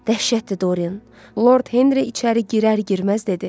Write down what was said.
Dəhşətdir Dorien, Lord Henri içəri girər-girməz dedi.